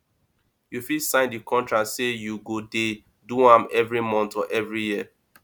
you fit sign di contract say you go de do am every month or every year